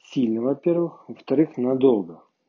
сильно во-первых во-вторых надолго